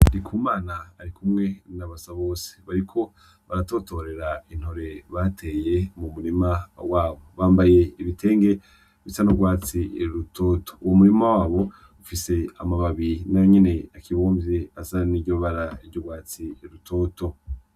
Ndikumana arikumwe na Basabose bariko baratotorera intore bateye mu murima wabo, bambaye ibitenge bisa n'urwatsi rutoto, uwo murima wabo ufise amababi nayo nyene akibumvye asa niryo bara ry'urwatsi rutoto.